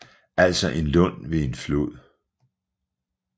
Altså en lund ved en flod